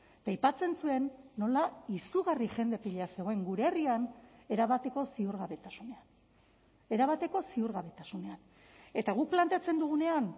eta aipatzen zuen nola izugarri jende pila zegoen gure herrian erabateko ziurgabetasunean erabateko ziurgabetasunean eta guk planteatzen dugunean